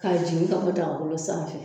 K'a jigin ka bɔ dagagolo sanfɛ